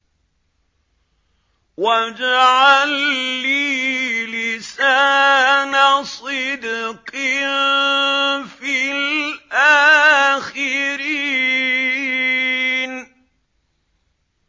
وَاجْعَل لِّي لِسَانَ صِدْقٍ فِي الْآخِرِينَ